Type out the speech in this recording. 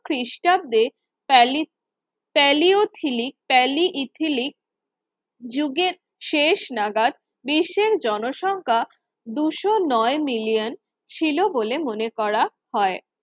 খ্রিস্টাব্দে প্যালিস paleolithic paleolithic যুগের শেষ নাগাদ বিশ্বের জনসংখ্যা দুশো নয় মিলিয়ন ছিল বলে মনে করা হয়